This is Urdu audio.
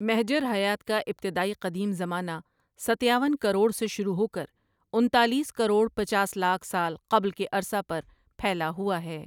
محجر حیات کا ابتدائی قدیم زمانہ ستیاون کروڑ سے شروع ہو کر انتالیس کروڑ پچاس لاکھ سال قبل کے عرصہ پر پھیلا ہوا ہے ۔